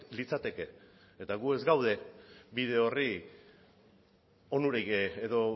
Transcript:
litzateke eta gu ez gaude bide horri onurik edo